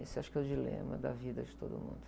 Esse acho que é o dilema da vida de todo mundo.